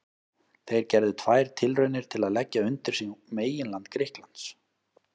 Þeir gerðu tvær tilraunir til að leggja undir sig meginland Grikklands.